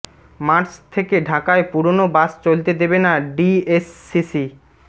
March থেকে ঢাকায় পুরোনো বাস চলতে দেবে না ডিএসসিসি